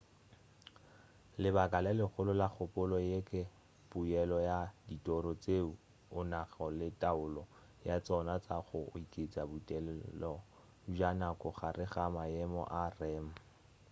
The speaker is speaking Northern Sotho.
lebaka le legolo la kgopolo ye ke poelo ya ditoro tšeo o nago le taolo ya tšona tša go oketša botelele bja nako gare ga maemo a rem